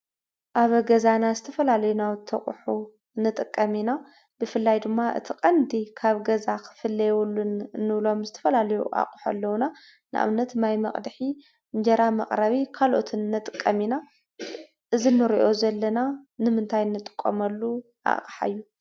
ኣብ ገዛና ናውቲ ኣቁሑ ንጥቀም ኢና። ብፍላይ ድማ ቀንዲ ካብ ገዛ ክፍለዩ የብሎም ዝተፈላለዩ ኣቁሑ ኣለዉና። ንኣብነት ማይ መቅድሒ ፣እንጀራ መቅረቢ ካልኦትን ንጥቀም ኢና። እዚ ንርኦ ዘለና ንምንታይ ንጥቀመሉ ኣቃሓ እዩ?